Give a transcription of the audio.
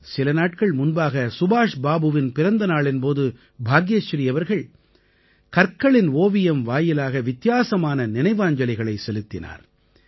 சில நாட்கள் முன்பாக சுபாஷ் பாபுவின் பிறந்தநாளின் போது பாக்யஸ்ரீ அவர்கள் கற்களின் ஓவியம் வாயிலாக வித்தியாசமான நினைவாஞ்சலிகளை செலுத்தினார்